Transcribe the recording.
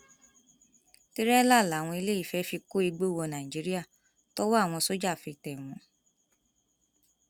tìrẹlà làwọn eléyìí fẹẹ fi kó igbó wọ nàìjíríà tọwọ àwọn sójà fi tẹ wọn